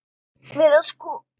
Við að skoða þetta.